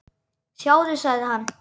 Sjáðu, sagði hann.